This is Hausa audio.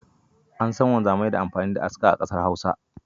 An san wanzamai da amfani da aska a kasar Hausa